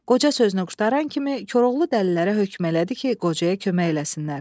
Qoca sözünü qurtaran kimi Koroğlu dəlilərə hökm elədi ki, qocaya kömək eləsinlər.